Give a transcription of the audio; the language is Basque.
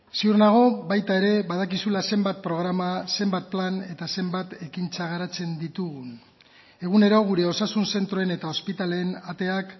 ziur nago baita ere badakizula zenbat programa zenbat plan eta zenbat ekintza garatzen ditugun egunero gure osasun zentroen eta ospitaleen ateak